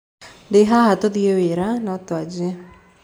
Ndĩ haha tũthĩe wĩra/no twanjie.